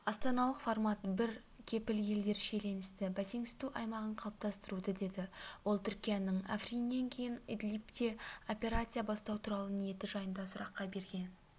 астаналық формат бар кепіл-елдер шиеленісті бәсеңсіту аймағын қалыптастыруды деді ол түркияның африннен кейін идлибте операция бастау туралы ниеті жайындағы сұраққа берген